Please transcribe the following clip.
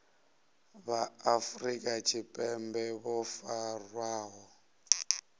vha afrika tshipembe vho farwaho